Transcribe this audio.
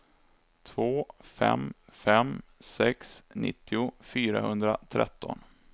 två fem fem sex nittio fyrahundratretton